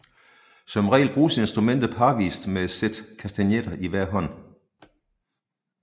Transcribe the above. Som regel bruges instrumentet parvist med et sæt kastagnetter i hver hånd